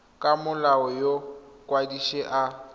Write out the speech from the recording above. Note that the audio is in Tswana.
ka molao yo mokwadise a